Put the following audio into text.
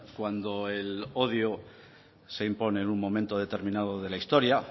cuando el odio se impone en un momento determinado de la historia